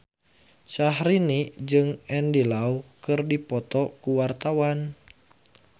Syahrini jeung Andy Lau keur dipoto ku wartawan